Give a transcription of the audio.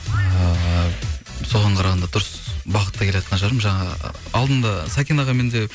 ыыы соған қарағанда дұрыс бағытта келеатқан шығармын жаңа алдында сәкен ағамен де